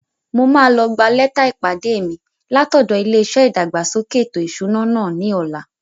Mo máa lọ gbà lẹ́tà ìpàdé mi látọ̀dọ̀ ilé-iṣẹ́ ìdàgbàsókè ètò ìṣúná náà ní ọ̀la